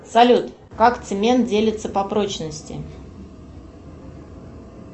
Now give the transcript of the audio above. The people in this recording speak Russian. салют как цемент делится по прочности